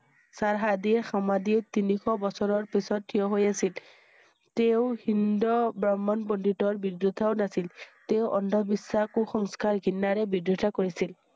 সৰ্শদি সমাধি তিনি শ বছৰৰ পিছত থিয় হৈ আছিল। তেওঁ হি~ন্দ ব্ৰাহ্মণ পণ্ডিত ৰ বিৰুদ্ধেও নাছিল। তেওঁ অন্ধ বিশ্বাস কু সংস্কাৰ ঘৃণাৰে বিৰোধিতা কৰিছিল।